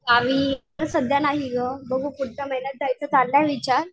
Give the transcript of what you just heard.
गावी सध्या नाही गं बघू पुढच्या महिन्यात जायचा चाललाय विचार.